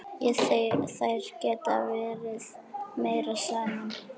Þær geta verið meira saman.